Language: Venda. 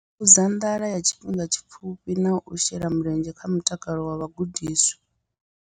Fhungudza nḓala ya tshifhinga tshipfufhi na u shela mulenzhe kha mutakalo wa vhagudiswa.